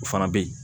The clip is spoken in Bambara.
O fana bɛ ye